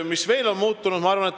Mis veel on muutunud?